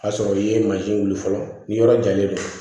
K'a sɔrɔ i ye mansin wuli fɔlɔ ni yɔrɔ jalen don